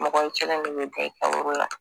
Mɔgɔ i kelen de bɛ da i kaburu la